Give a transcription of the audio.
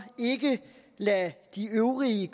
ikke lade de øvrige